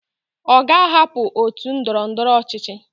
Oga ahapu otu ndọrọ ndọrọ ọchịchị